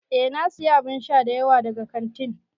Eh na siya abun sha dayawa daga kantin.